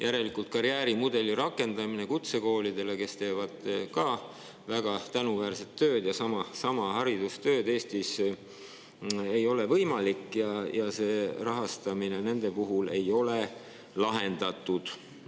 Järelikult, karjäärimudeli rakendamine kutsekoolides, kes teevad ka väga tänuväärset tööd, sama haridustööd, ei ole võimalik ja rahastamise nende puhul ei ole lahendatud.